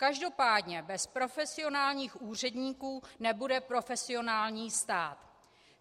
Každopádně bez profesionálních úředníků nebude profesionální stát.